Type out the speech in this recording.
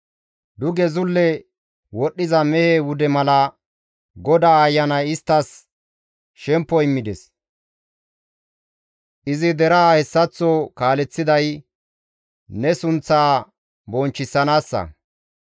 Duge zulle wodhdhiza mehe wude mala, GODAA Ayanay isttas shemppo immides; izi deraa hessaththo kaaleththiday, ne sunththaa bonchchisanaassa.